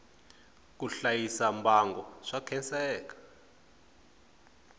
ku hlayisa mbango swa khenseka